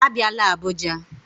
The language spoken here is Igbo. Abịala Abuja